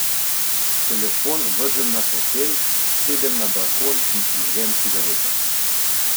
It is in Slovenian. Telefon vržem na fotelj, sedem na balkon in prižgem cigareto.